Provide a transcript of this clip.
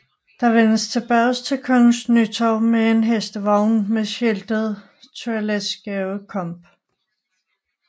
Der vendes tilbage til Kongens Nytorv med en hestevogn med skiltet Toiletskabe Comp